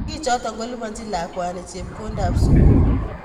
Sigichoto kolipanchini lagokwai chepkondokab sukul